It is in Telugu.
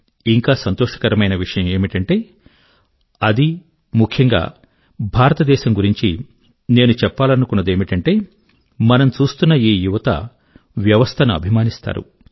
ఇంకా సంతోషకరమైన విషయం ఏమిటంటే అదీ ముఖ్యంగా భారతదేశం గురించి నేను చెప్పాలనుకునేదేమిటంటే మనం చూస్తున్న ఈ యువత వ్యవస్థ ను అభిమానిస్తారు